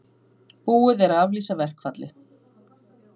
Búið er að aflýsa verkfalli